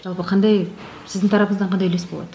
жалпы қандай сіздің тарапыңыздан қандай үлес болады